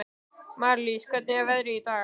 Marlís, hvernig er veðrið í dag?